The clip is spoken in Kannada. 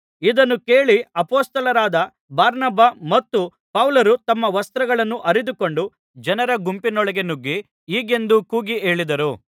ಇದನ್ನು ಕೇಳಿ ಅಪೊಸ್ತಲರಾದ ಬಾರ್ನಬ ಮತ್ತು ಪೌಲರು ತಮ್ಮ ವಸ್ತ್ರಗಳನ್ನು ಹರಿದುಕೊಂಡು ಜನರ ಗುಂಪಿನೊಳಗೆ ನುಗ್ಗಿ ಹೀಗೆಂದು ಕೂಗಿ ಹೇಳಿದರು